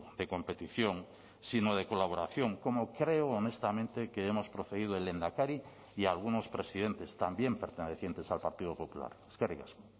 de competición sino de colaboración como creo honestamente que hemos procedido el lehendakari y algunos presidentes también pertenecientes al partido popular eskerrik asko